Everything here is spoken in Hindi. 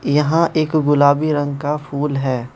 यहां एक गुलाबी रंग का फूल है।